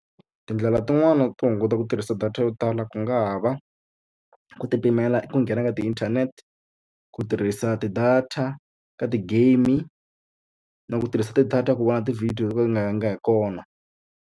Tindlela tin'wani to hunguta ku tirhisa data yo tala ku nga ha va, ku ti pimela ku nghena ka ti-internet, ku tirhisa ti-data ka ti-game-i na ku tirhisa ti-data ku vona ti-video to ka ti nga yangi hi kona.